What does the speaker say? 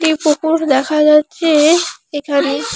একটি পুকুর দেখা যাচ্ছে এখানে।